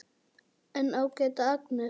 En ágæta Agnes.